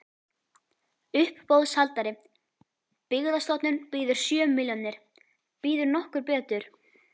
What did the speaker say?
Uppboðshaldari: Byggðastofnun býður sjö milljónir, býður nokkur betur?